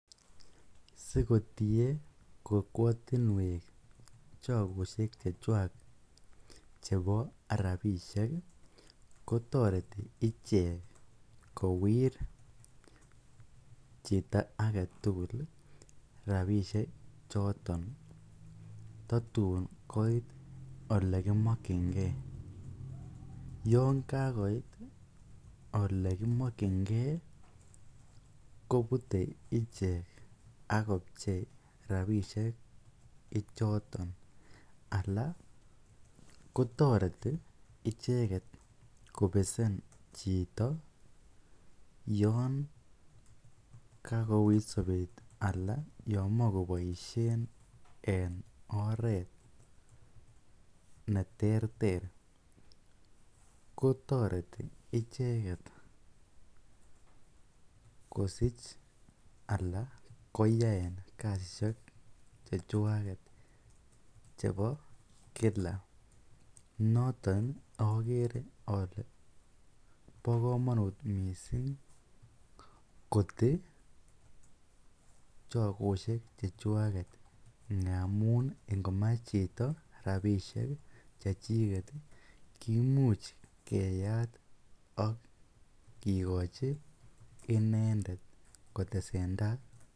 Sikotie kokwotinwek chokoshek chechwak chebo rabishek kotoreti ichek kowir chito aketukul rabishe chotoon tatun koit olekimokyinge, yoon kakoit olekimokyinge kobute ichek ak kobchei rabishek ichoton alaa kotoreti icheket kobesen chito yoon kakouit sobet anan yoon moche koboishen en oreet neterter ko toreti icheket kosich alan koyaen kasishek chechwaket chebo kila noton okere olee bokomonut mising kotii chokoshek chechwaket ngamun ingomach chito rabishek chechiket kimuch keyat ak kikochi inendet kotesenta.